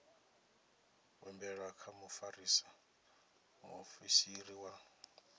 humbelwa kha mufarisa muofisiri wa